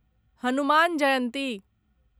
Hanuman Jayanti